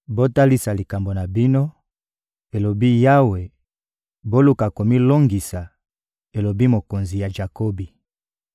«Botalisa likambo na bino,» elobi Yawe, «boluka komilongisa,» elobi Mokonzi ya Jakobi.